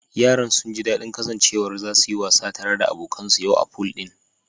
Yaran sunji dadin kasancewar zasu yi wasa tare da abokan su yau a pool din